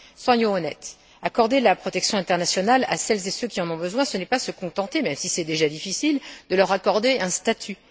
Soyons honnêtes, accorder la protection internationale à celles et ceux qui en ont besoin, ce n'est pas se contenter même si c'est déjà difficile de leur accorder un statut.